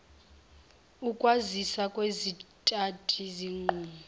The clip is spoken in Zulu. ukwazisa kwezithathi zinqumo